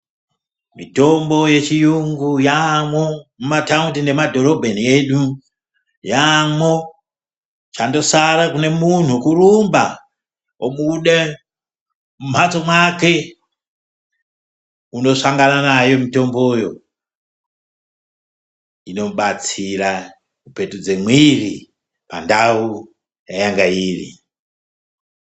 Mitombo yechiyungu yaamwo mumataundi nemumadhorobheni yedu, yaamwo. Chandosara kune munhu kurumba obude mumhatso mwake kundosangana nayo mitomboyo. Inobatsira kupetudze mwiri pandau payanga iri.